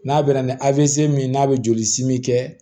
N'a bɛ na ni a bɛ se min n'a bɛ joli simi kɛ